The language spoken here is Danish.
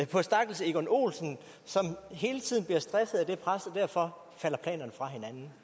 på stakkels egon olsen som hele tiden bliver stresset af det pres og derfor falder planerne fra hinanden